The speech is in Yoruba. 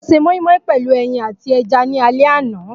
Mo se moimoi pelu eyin ati eja ni ale ana.